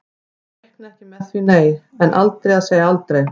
Ég reikna ekki með því nei, en aldrei að segja aldrei.